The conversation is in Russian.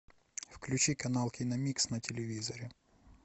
включи канал киномикс на телевизоре